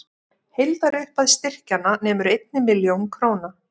Heildarupphæð styrkjanna nemur einni milljón króna